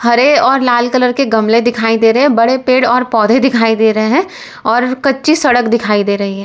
अरे और लाल कलर के गमले दिखाई दे रहे हैं बड़े पेड़ और पौधे दिखाई दे रहे हैं और कच्ची सड़क दिखाई दे रही है।